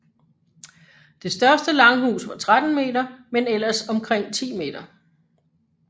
Det største langhus var 13 m men ellers omkring 10 m